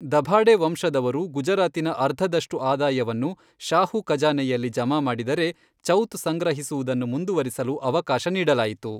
ದಭಾಡೆ ವಂಶದವರು ಗುಜರಾತಿನಿಂದ ಅರ್ಧದಷ್ಟು ಆದಾಯವನ್ನು ಶಾಹು ಖಜಾನೆಯಲ್ಲಿ ಜಮಾ ಮಾಡಿದರೆ, ಚೌತ್ ಸಂಗ್ರಹಿಸುವುದನ್ನು ಮುಂದುವರಿಸಲು ಅವಕಾಶ ನೀಡಲಾಯಿತು.